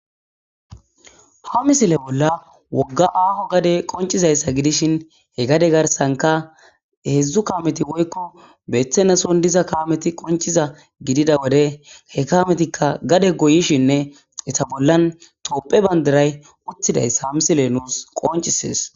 ha misile bolla wogga aaho gade qoncizayssa gidishin he gade garsanka heedzdzu kaameti woykko beeththenason diza kaameti qonciza gidida wode he kaametikka gade goyishinne eta bollan topphe bandaray uttidayssa ha misile nuus qoncisees